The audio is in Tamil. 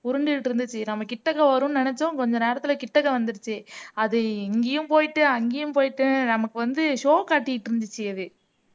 உருண்டுகிட்டு இருந்துச்சு நம்ம கிட்டக்க வரும்ன்னு நினைச்சோம் கொஞ்ச நேரத்திலே கிட்டக்க வந்திருச்சு அது இங்கயும் போயிட்டு அங்கேயும் போயிட்டு நமக்கு வந்து show காத்திட்டிருந்துச்சு அது